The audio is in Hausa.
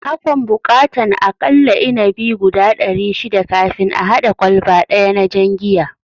Akan buƙatan a kalla inabi guda dari shida kafin a hada kwalba daya na jan giya